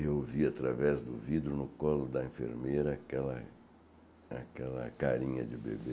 Eu vi, através do vidro no colo da enfermeira, aquela carinha de bebê.